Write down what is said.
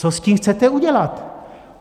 Co s tím chcete udělat?